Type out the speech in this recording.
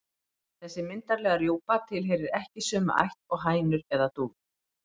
Þessi myndarlega rjúpa tilheyrir ekki sömu ætt og hænur eða dúfur.